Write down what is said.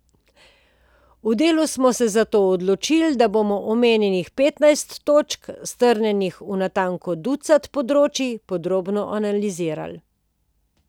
Na Delu smo se zato odločili, da bomo omenjenih petnajst točk, strnjenih v natanko ducat področij, podrobno analizirali.